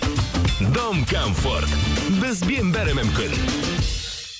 дом комфорт бізбен бәрі мүмкін